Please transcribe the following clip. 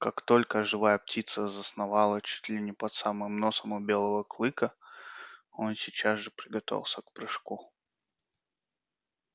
как только живая птица засновала чуть ли не под самым носом у белого клыка он сейчас же приготовился к прыжку